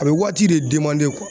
A be waati de demande kuwa